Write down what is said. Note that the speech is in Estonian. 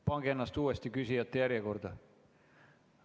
Pange ennast uuesti küsijate järjekorda.